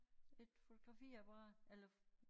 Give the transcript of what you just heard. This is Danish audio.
Et fotografiapparat eller